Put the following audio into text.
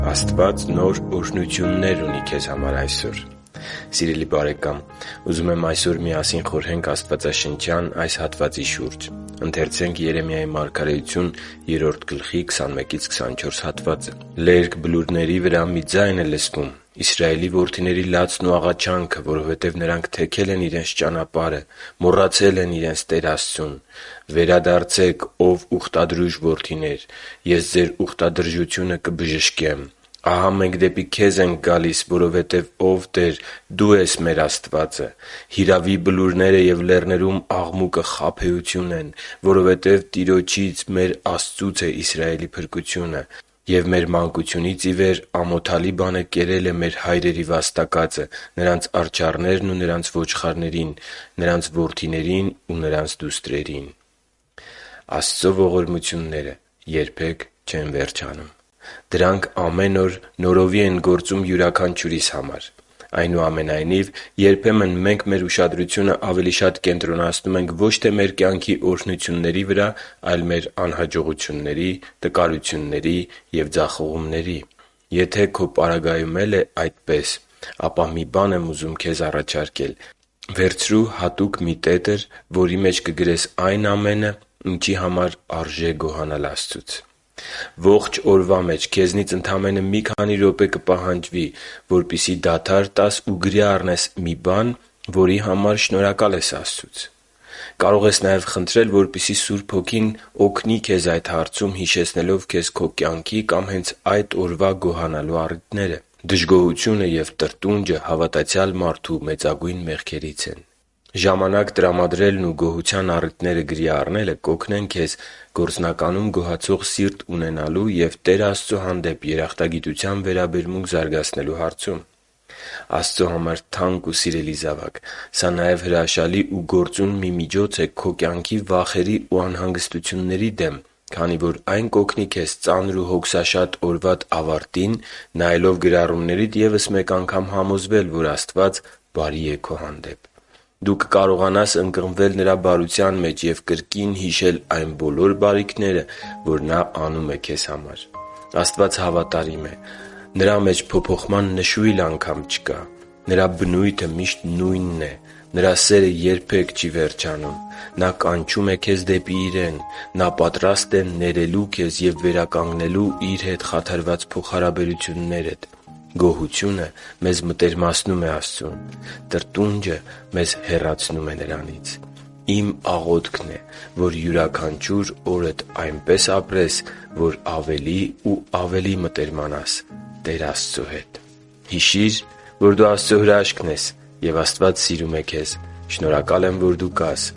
Աստված նոր օրհնություններ ունի քեզ համար այսօր Սիրելի՛ բարեկամ, ուզում եմ այսօր միասին խորհենք աստվածաշնչյան այս հատվածի շուրջ. «Լերկ բլուրների վրա մի ձայն է լսվում՝ Իսրայելի որդիների լացն ու աղաչանքը, որովհետև նրանք թեքել են իրենց ճանապարհը, մոռացել են իրենց Տեր Աստծուն։ «Վերադարձե՛ք, ո՛վ ուխտադրուժ որդիներ, Ես ձեր ուխտադրժությունը կբժշկեմ»։ «Ահա մենք դեպի քեզ ենք գալիս, որովհետև, ո՛վ Տեր, Դու ես մեր Աստվածը։ Հիրավի, բլուրները և լեռներում աղմուկը խաբեություն են, որովհետև Տիրոջից՝ մեր Աստծուց է Իսրայելի փրկությունը։ Եվ մեր մանկությունից ի վեր ամոթալի բանը կերել է մեր հայրերի վաստակածը՝ նրանց արջառներին ու նրանց ոչխարներին, նրանց որդիներին ու նրանց դուստրերին» (Երեմիա 3.21-24)։ Աստծո ողորմությունները երբե՛ք չեն վերջանում։ Դրանք ամեն օր նորովի են գործում յուրաքանչյուրիս համար։ Այնուամենայնիվ, երբեմն մենք մեր ուշադրությունը ավելի շատ կենտրոնացնում ենք ոչ թե մեր կյանքի օրհնությունների վրա, այլ մեր անհաջողությունների, տկարությունների և ձախողումների։ Եթե քո պարագայում էլ է դա այդպես, ապա մի բան եմ ուզում քեզ առաջարկել՝ հատուկ մի տետր, որի մեջ կգրես այն ամենը, ինչի համար արժե գոհանալ Տեր Աստծուց։ Ողջ օրվա մեջ քեզնից ընդամենը մի քանի րոպե կպահանջի, որպեսզի դադար տաս ու գրի առնես մի բան, որի համար շնորհակալ ես Աստծուց։ Կարող ես նաև խնդրել, որպեսզի Աստծո Սուրբ Հոգին օգնի քեզ այդ հարցում՝ հիշեցնելով քեզ քո կյանքի կամ հենց այդ օրվա գոհանալու առիթները։ Դժգոհությունը և տրտունջը հավատացյալ մարդու մեծագույն մեղքերից մեկն է։ Ժամանակ տրամադրելն ու գոհության առիթները գրի առնելը կօգնի քեզ գործնականում գոհացող սիրտ ունենալու և Տեր Աստծո հանդեպ երախտագիտության վերաբերմունք զարգացնելու հարցում։ Աստծո համար թանկ ու սիրելի՛ զավակ, սա նաև հրաշալի ու գործուն մի միջոց է քո կյանքի վախերի ու անհանգստություններիդ դեմ, քանի որ այն կօգնի քեզ ծանր ու հոգսաշատ օրվադ ավարտին՝ նայելով գրառումներիդ ևս մեկ անգամ համոզվել, որ Աստված բարի՛ է քո հանդեպ։ Դու կկարողանաս ընկղմվել Նրա բարության մեջ և կրկին հիշել այն բոլոր բարիքները, որ Նա անում է քեզ համար։ Աստված հավատարի՛մ է։ Նրա մեջ փոփոխման նշույլ անգամ չկա՛։ Նրա բնույթը միշտ նույնն է։ Նրա սերը երբե՛ք չի վերջանում։ Նա կանչում է քեզ դեպի Իրեն։ Նա պատրաստ է ներելու քեզ և վերականգնելու Իր հետ խաթարված փոխհարաբերություններդ։ Գոհությունը մեզ մտերմացնում է Աստծու հետ։ Տրտունջը մեզ հեռացնում է Աստծուց։ Իմ աղոթքն է, որ յուրաքանչյուր օրդ այնպես ապրես, որ ավելի ու ավելի մտերմանաս Տեր Աստծո հետ։ Հիշի՛ր, որ դու Աստծո հրաշքն ես, և Աստված սիրում է քեզ։ Շնորհակալ եմ, որ դու կա՛ս